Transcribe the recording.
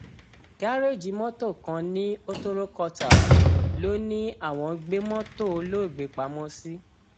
gàréèjì mọtò kan ní hotoro quarters ló ní àwọn gbé mọtò olóògbé pamọ sí